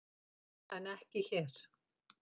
En ekki hér.